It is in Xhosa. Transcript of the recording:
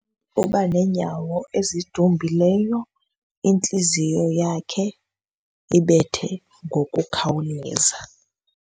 Uba neenyawo ezidumbileyo, intliziyo yakhe ibethe ngokukhawuleza.